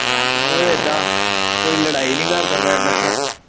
ਸੁਆਹ ਕਿਉਂ ਹੋਗਈ ਆ? ਉਹ ਇੱਦਾਂ ਕੋਈ ਲੜਾਈ ਨੀ ਕਰਦਾ ਪਿਆ ਮੈਂ